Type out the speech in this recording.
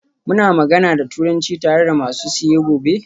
Muna magana da Turanci tare da masu siye gobe?